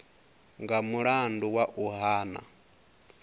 nga mulandu wa u hana